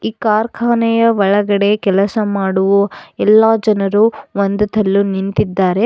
ಈ ಕಾರ್ಖಾನೆಯ ಒಳಗಡೆ ಕೆಲಸ ಮಾಡುವ ಎಲ್ಲಾ ಜನರು ಹೊಂದುತಲ್ ನಿಂತಿದ್ದಾರೆ.